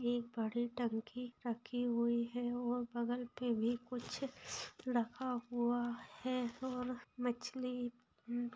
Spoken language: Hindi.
एक बड़ी टंकी रखी हुई है और बगल पे भी कुछ रखा हुआ है और मछली म --